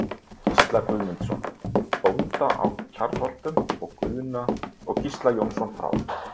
Gísla Guðmundsson, bónda í Kjarnholtum, og Gísla Jónsson frá